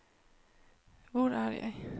hvor er jeg